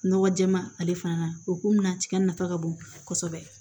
Nɔgɔ jɛɛma ale fana o kunna tiga nafa ka bon kosɛbɛ